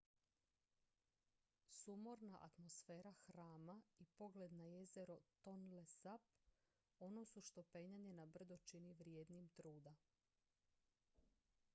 sumorna atmosfera hrama i pogled na jezero tonle sap ono su što penjanje na brdo čini vrijednim truda